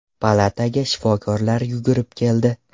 Palataga shifokorlar yugurib keldi.